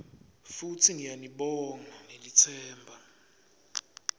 futsi ngiyanibonga ngelitsemba